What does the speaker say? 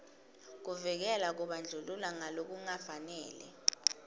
kuvikela kubandlulula ngalokungafanele